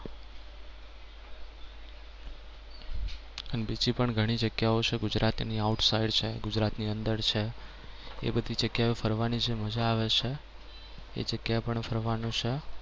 અને બીજી પણ ઘણી બધી જગ્યાઓ છે ગુજરાતની outside છે એની અંદર છે. એ બધી જગ્યાઓ ફરવાની જે મજા આવે છે. એ જગ્યા પણ ફરવાની છે.